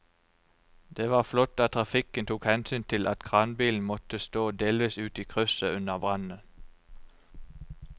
Det var flott at trafikken tok hensyn til at kranbilen måtte stå delvis ute i krysset under brannen.